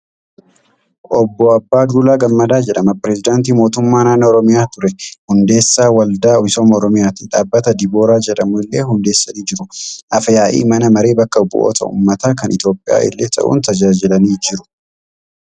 Obbo Abbaa Duulaa Gammadaa jedhama. Pireezidaantii Mootummaa Naannoo Oromiyaa ture. Hundeessaa Waldaa Misooma Oromiyaati. Dhaabbata Dibooraa jedhamu illee hundeessanii jiru. Afyaa'ii mana maree bakka bu'oota ummataa kan Itoophiyaa illee ta'uun tajaajilaniiru.